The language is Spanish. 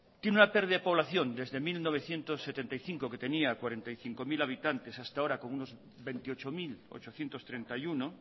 tiene una pérdida de población desde mil novecientos setenta y cinco que tenía cuarenta y cinco mil habitantes hasta ahora con unos veintiocho mil ochocientos treinta y uno